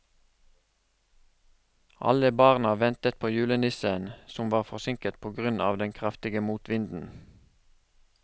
Alle barna ventet på julenissen, som var forsinket på grunn av den kraftige motvinden.